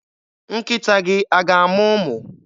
Nkịta gị a ga-amụ ụmụ?